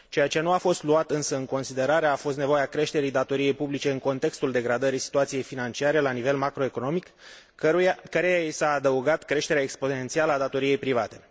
Ceea ce nu a fost luat însă în considerare a fost nevoia creșterii datoriei publice în contextul degradării situației financiare la nivel macroeconomic, căreia i s a adăugat creșterea exponențială a datoriei private.